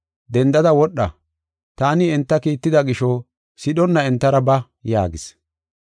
Dendada wodha, taani enta kiitida gisho sidhonna entara ba” yaagis.